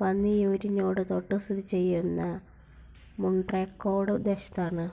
പന്നിയൂരിനോട് തൊട്ടുസ്ഥിതിചെയ്യുന്ന മുൺട്രക്കോട് ദേശത്താണ്.